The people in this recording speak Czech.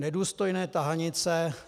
Nedůstojné tahanice.